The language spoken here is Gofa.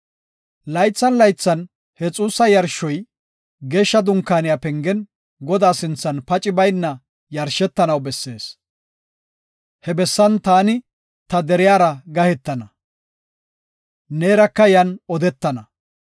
“Laythan laythan he xuussa yarshoy Geeshsha Dunkaaniya pengen, Godaa sinthan paci bayna yashetanaw bessees. He bessan taani ta deriyara gahetana; neeraka yan odetana.